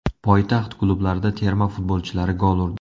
Poytaxt klublarida terma futbolchilari gol urdi.